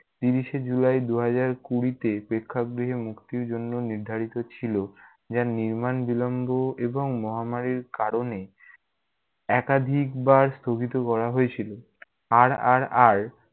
ত্রিশ এ july দুই হাজার কুঁড়িতে প্রেক্ষাগৃহে মুক্তির জন্য নির্ধারিত ছিল, যা নির্মাণ বিলম্ব এবং মহামারীর কারণে একাধিকবার স্থগিত করা হয়েছিল। RRR